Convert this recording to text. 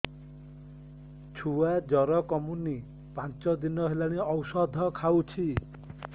ଛୁଆ ଜର କମୁନି ପାଞ୍ଚ ଦିନ ହେଲାଣି ଔଷଧ ଖାଉଛି